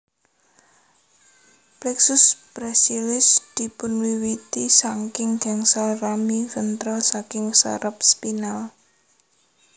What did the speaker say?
Plexus brachialis dipunwiwiti saking gangsal rami ventral saking saraf spinal